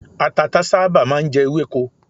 Àtàtà sábà máà ń jẹ ewéko.